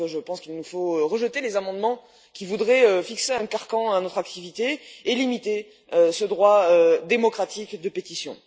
Je pense donc qu'il nous faut rejeter les amendements qui voudraient fixer un carcan à notre activité et limiter ce droit démocratique de pétition.